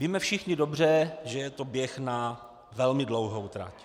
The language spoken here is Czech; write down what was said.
Víme všichni dobře, že je to běh na velmi dlouhou trať.